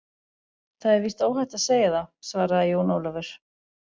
Það er víst óhætt að segja það, svaraði Jón Ólafur.